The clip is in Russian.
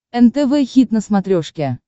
нтв хит на смотрешке